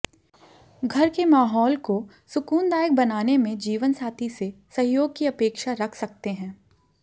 घर के माहौल को सुकूनदायक बनाने में जीवनसाथी से सहयोग की अपेक्षा रख सकते हैं